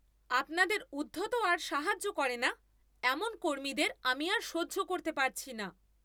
আপনাদের উদ্ধত আর সাহায্য করে না এমন কর্মীদের আমি আর সহ্য করতে পারছি না।